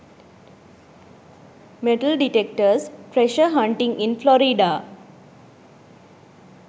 metal detectors treasure hunting in florida